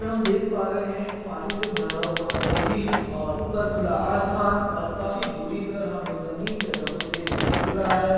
हम देख पा रहे है एक पानी से भरा हुआ कोई और ऊपर खुला आसमान और काफी दूरी पे हमे जमीन जैसा कुछ देखने को मिल रहा हैं ।